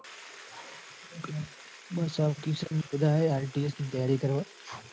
બસ આ કિશાન ને બધા એ IELTS ની તૈયારી કરવા.